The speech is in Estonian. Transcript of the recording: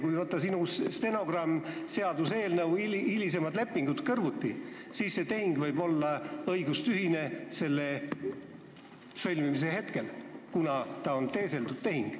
Kui võtta sinu jutt stenogrammis, seaduseelnõu ja hilisemad lepingud kõrvuti, siis see tehing võib osutuda õigustühiseks, kuna ta on teeseldud tehing.